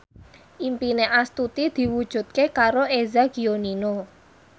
impine Astuti diwujudke karo Eza Gionino